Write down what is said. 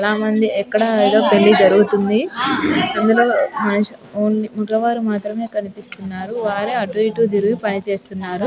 చాల మంది యెక్కడో యేదో పెళ్లి జరుగుతూంది అంధులో వొంలి మగవారు మాత్రమే కనిపిస్తూన్నారు. వారే అటు ఇటు తిరిగి పని చేస్తున్నారు.